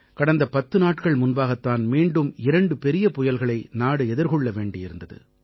கடந்த 10 நாட்கள் முன்பாகத் தான் மீண்டும் இரண்டு பெரிய புயல்களை நாடு எதிர்கொள்ள வேண்டி வந்தது